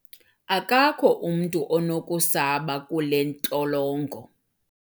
akakho umntu onokusaba kule ntolongo